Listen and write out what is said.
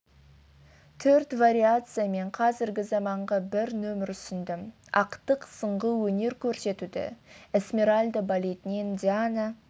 төрт вариация мен қазіргі заманғы бір нөмір ұсындым ақтық сынғы өнер көрсетуді эсмеральда балетінен диана